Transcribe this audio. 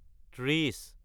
ত্ৰিশ